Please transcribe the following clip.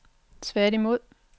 tværtimod